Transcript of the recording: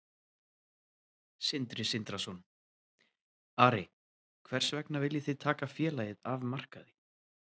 Sindri Sindrason: Ari, hvers vegna viljið þið taka félagið af markaði?